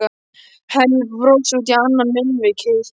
Hemmi brosir út í annað munnvikið.